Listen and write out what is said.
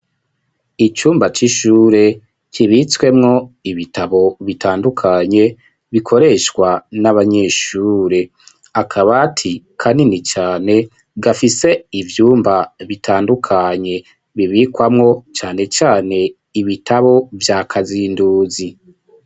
Icumba c'ishure kibitswemwo ibitabo bitandukanye bikoreshwa n'abanyeshure akabati kanini cane gafise ivyumba bitandukanye bibikwamwo cane cane ibitabo vya kazinduzi.